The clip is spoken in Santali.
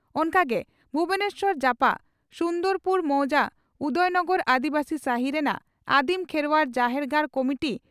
ᱚᱱᱠᱟ ᱜᱮ ᱵᱷᱩᱵᱚᱱᱮᱥᱥᱚᱨ ᱡᱟᱯᱟᱜ ᱥᱩᱱᱫᱚᱨᱯᱩᱨ ᱢᱚᱣᱡᱟ ᱩᱫᱚᱭᱱᱚᱜᱚᱨ (ᱟᱹᱫᱤᱵᱟᱹᱥᱤ ᱥᱟᱦᱤ) ᱨᱮᱱᱟᱜ ᱟᱹᱫᱤᱢ ᱠᱷᱮᱨᱣᱟᱲ ᱡᱟᱦᱮᱨ ᱜᱟᱲ ᱠᱚᱢᱤᱴᱤ